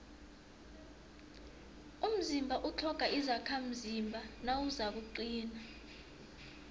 umzimba utlhoga izakhamzimba nawuzakuqina